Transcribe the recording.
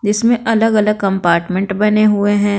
जिसमें अलग-अलग कंपार्टमेंट बने हुए है।